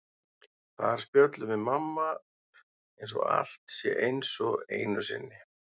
Þar spjöllum við mamma eins og allt sé eins og einu sinni.